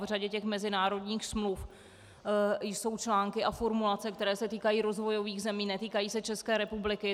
V řadě těch mezinárodních smluv jsou články a formulace, které se týkají rozvojových zemí, netýkají se České republiky.